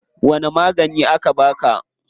Wani magani aka baka?